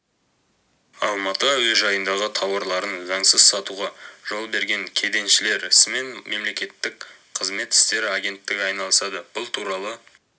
алматы әуежайындағы таурларын заңсыз сатуға жол берген кеденшілер ісімен мемлекеттік қызмет істері агенттігі айналысады бұл туралы